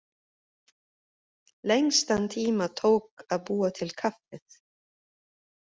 Lengstan tíma tók að búa til kaffið.